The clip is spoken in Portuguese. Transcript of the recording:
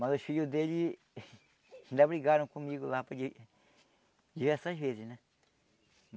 Mas os filhos dele ainda brigaram comigo lá por di diversas vezes, né?